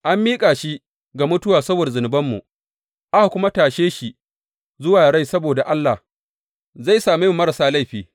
An miƙa shi ga mutuwa saboda zunubanmu, aka kuma tashe shi zuwa rai saboda Allah zai same mu marasa laifi.